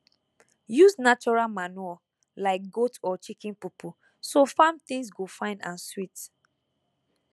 use natural manure like goat or chicken poo poo so farm things go fine and sweet